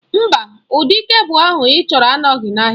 Mba, ụdị kebụl ahụ ịchọrọ anọghị n'ahịa.